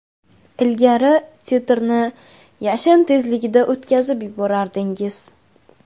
Ilgari titrni yashin tezligida o‘tkazib yuborardingiz.